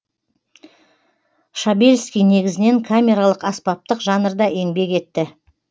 шабельский негізінен камералық аспаптық жанрда еңбек етті